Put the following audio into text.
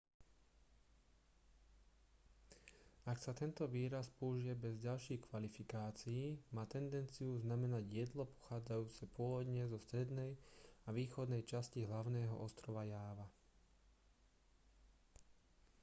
ak sa tento výraz použije bez ďalších kvalifikácií má tendenciu znamenať jedlo pochádzajúce pôvodne zo strednej a východnej časti hlavného ostrova jáva